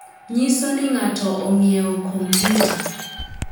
nyiso ni ng'ato ong'iewo kompyuta